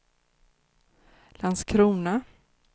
Landskrona